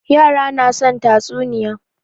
Yara na son tatsuniya.